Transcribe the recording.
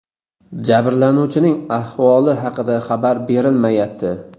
Jabrlanuvchining ahvoli haqida xabar berilmayapti.